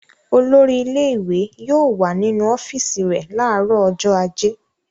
Olórí ilé-ìwé yóò wà nínu ọ́fíísì rẹ̀ láàárọ̀ ọjọ́ ajé.